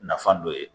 Nafo ye